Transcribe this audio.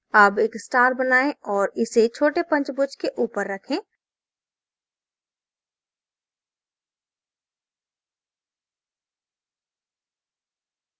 अब एक star बनाएँ और इसे छोटे पंचभुज के ऊपर रखें